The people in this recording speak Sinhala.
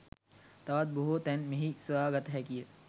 තවත් බොහෝ තැන් මෙහි සොයා ගත හැකිය